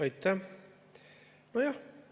Aitäh!